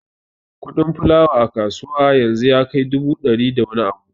Kuɗin fulawa a kasuwa yanzu ya kai dubu biyar da wani abu